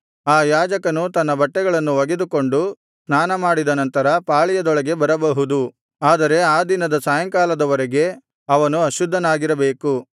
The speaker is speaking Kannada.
ಆ ಯಾಜಕನು ತನ್ನ ಬಟ್ಟೆಗಳನ್ನು ಒಗೆದುಕೊಂಡು ಸ್ನಾನಮಾಡಿದ ನಂತರ ಪಾಳೆಯದೊಳಗೆ ಬರಬಹುದು ಆದರೆ ಆ ದಿನದ ಸಾಯಂಕಾಲದವರೆಗೆ ಅವನು ಅಶುದ್ಧನಾಗಿರಬೇಕು